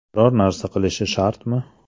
Biror narsa qilishi shartmi?